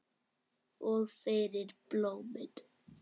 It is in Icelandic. Og fyrir blómin.